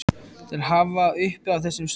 til að hafa uppi á þessum stöðum.